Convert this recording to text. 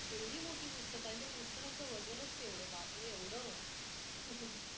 केवढी मोठी पुस्तक आहेत आणि त्या पुस्तकांचा वजनच केवढं बापरे एवढं.